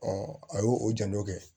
a y'o o janto